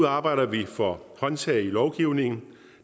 arbejder vi for håndtag i lovgivningen